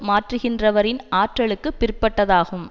மாற்றுகின்றவரின் ஆற்றலுக்குப் பிற்பட்டதாகும்